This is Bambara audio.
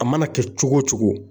A mana kɛ cogo o cogo